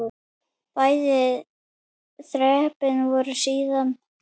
Bæði þrepin voru síðan lækkuð.